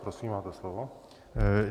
Prosím, máte slovo.